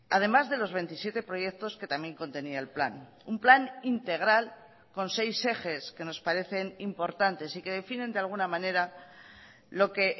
además de los veintisiete proyectos que también contenía el plan un plan integral con seis ejes que nos parecen importantes y que definen de alguna manera lo que